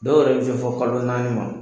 Dɔw yɛrɛ bɛ se fɔ kalo naani ma!